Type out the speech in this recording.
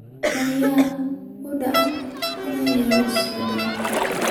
Nanya u daa in yar uu socdo